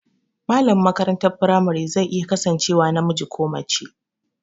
Malamin makarantar firamare zai iya kasancewa namiji ko mace